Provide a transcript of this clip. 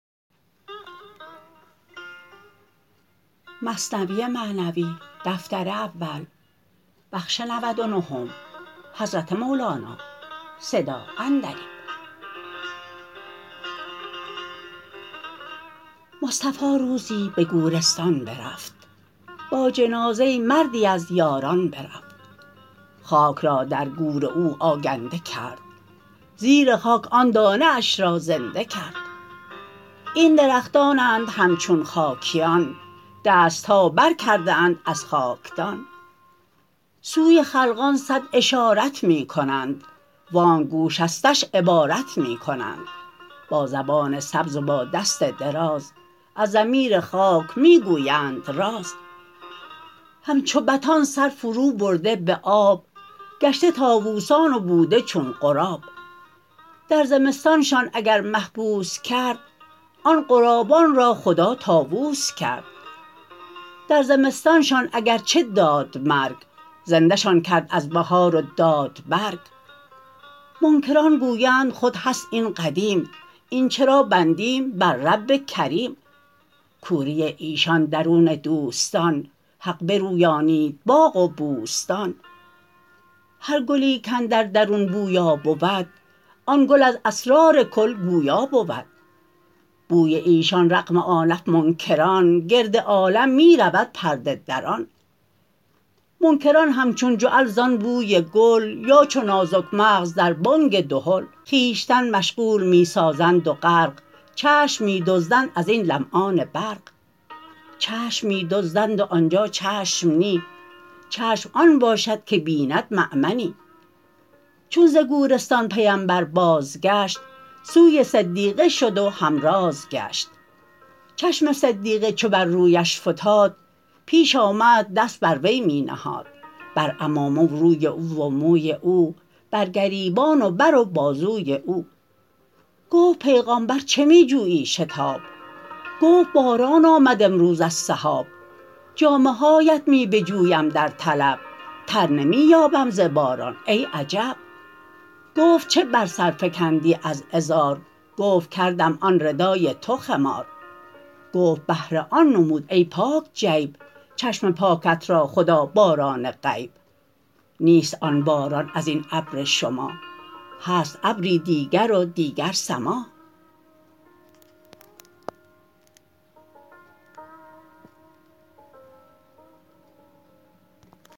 مصطفی روزی به گورستان برفت با جنازه مردی از یاران برفت خاک را در گور او آگنده کرد زیر خاک آن دانه اش را زنده کرد این درختانند همچون خاکیان دستها بر کرده اند از خاکدان سوی خلقان صد اشارت می کنند وانک گوشستش عبارت می کنند با زبان سبز و با دست دراز از ضمیر خاک می گویند راز همچو بطان سر فرو برده به آب گشته طاووسان و بوده چون غراب در زمستانشان اگر محبوس کرد آن غرابان را خدا طاووس کرد در زمستانشان اگر چه داد مرگ زنده شان کرد از بهار و داد برگ منکران گویند خود هست این قدیم این چرا بندیم بر رب کریم کوری ایشان درون دوستان حق برویانید باغ و بوستان هر گلی کاندر درون بویا بود آن گل از اسرار کل گویا بود بوی ایشان رغم آنف منکران گرد عالم می رود پرده دران منکران همچون جعل زان بوی گل یا چو نازک مغز در بانگ دهل خویشتن مشغول می سازند و غرق چشم می دزدند ازین لمعان برق چشم می دزدند و آنجا چشم نی چشم آن باشد که بیند مامنی چون ز گورستان پیمبر باز گشت سوی صدیقه شد و همراز گشت چشم صدیقه چو بر رویش فتاد پیش آمد دست بر وی می نهاد بر عمامه و روی او و موی او بر گریبان و بر و بازوی او گفت پیغامبر چه می جویی شتاب گفت باران آمد امروز از سحاب جامه هاات می بجویم در طلب تر نمی یابم ز باران ای عجب گفت چه بر سر فکندی از ازار گفت کردم آن ردای تو خمار گفت بهر آن نمود ای پاک جیب چشم پاکت را خدا باران غیب نیست آن باران ازین ابر شما هست ابری دیگر و دیگر سما